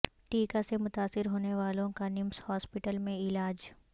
ٹیکہ سے متاثر ہونے والوں کا نمس ہاسپٹل میں علاج